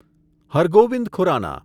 Har Gobind Khurrana